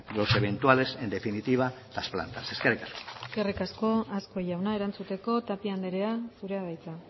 los eventuales en definitiva las plantas eskerrik asko eskerrik asko azkue jauna erantzuteko tapia andrea zurea da hitza